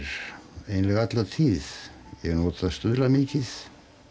eiginlega alla tíð ég hef notað stuðla mikið